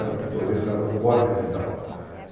Era Pitoresco, era bucólica a cidade.